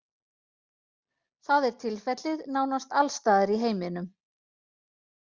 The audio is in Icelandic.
Það er tilfellið nánast alls staðar í heiminum.